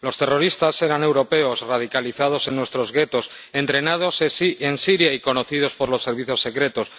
Los terroristas eran europeos radicalizados en nuestros guetos, entrenados en Siria y conocidos por los servicios secretos.